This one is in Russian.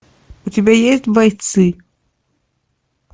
у тебя есть бойцы